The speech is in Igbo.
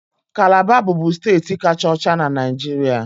Calabar bụbu steeti kacha ọcha na Naịjirịa